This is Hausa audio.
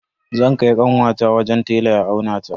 Zan kai kanwata wajen tela ya aunata.